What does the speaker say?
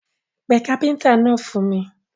Pé káfíntà náà fún mi.